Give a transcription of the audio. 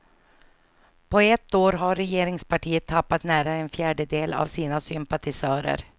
På ett år har regeringspartiet tappat nära en fjärdedel av sina sympatisörer.